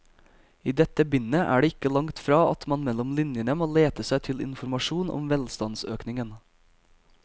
I dette bindet er det ikke langt fra at man mellom linjene må lete seg til informasjon om velstandsøkningen.